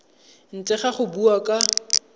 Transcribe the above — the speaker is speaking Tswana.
ntle ga go bua ka